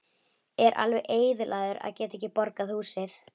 Er alveg eyðilagður að geta ekki borgað húsið.